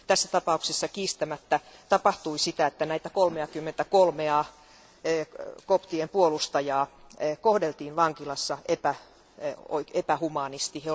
Tässä tapauksessa kiistämättä tapahtui sitä, että näitä 33a koptien puolustajaa kohdeltiin vankilassa epähumaanisti.